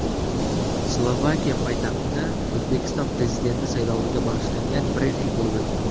Slovakiya poytaxtida O‘zbekiston Prezidenti sayloviga bag‘ishlangan brifing bo‘lib o‘tdi.